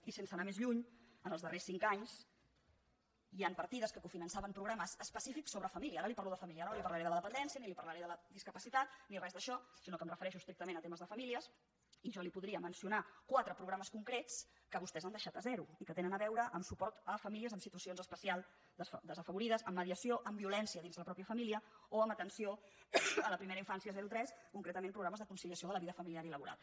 i sense anar més lluny en els darrers cinc anys hi han partides que cofinançaven programes específics sobre família ara li parlo de família ara no li parlaré de la dependència ni li parlaré de la discapacitat ni res d’això sinó que em refereixo estrictament a temes de família i jo li podria mencionar quatre programes concrets que vostès han deixat a zero i que tenen a veure amb suport a famílies en situacions especials desafavorides amb mediació amb violència dins la pròpia família o amb atenció a la primera infància zero tres concretament programes de conciliació de la vida familiar i laboral